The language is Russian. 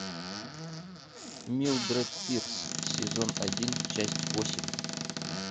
милдред пирс сезон один часть восемь